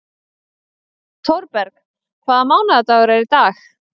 Thorberg, hvaða mánaðardagur er í dag?